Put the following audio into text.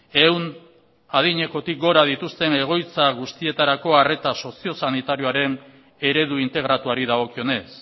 ehun adinekotik gora dituzten egoitza guztietarako arreta sozio sanitarioaren eredu integratuari dagokionez